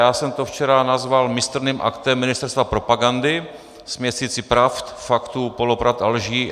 Já jsem to včera nazval mistrným aktem ministerstva propagandy, směsicí pravd, faktů, polopravd a lží.